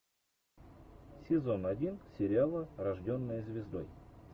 сезон один сериала рожденная звездой